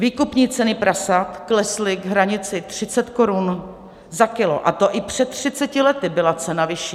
Výkupní ceny prasat klesly k hranici 30 korun za kilo, a to i před 30 lety byla cena vyšší.